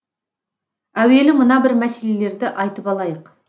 әуелі мына бір мәселелерді айтып алайық